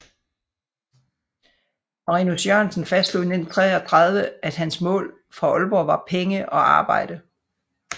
Marinus Jørgensen fastslog i 1933 at hans mål fra Aalborg var penge og arbejde